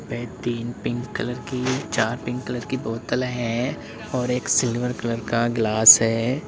ये तीन pink colour की चार पिंक कलर की बोतल है और एक सिल्वर कलर का ग्लास है।